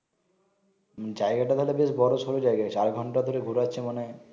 জায়গাটা তাইলে বেশ বোরশোর জায়গা চার ঘন্টা ধরে ঘোরাছে মানে